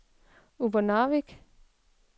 Upernavik